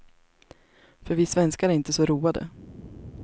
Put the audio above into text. För vi svenskar är inte så roade.